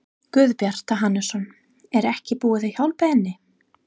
Guðbjartur Hannesson: Er ekkert búið að hjálpa henni?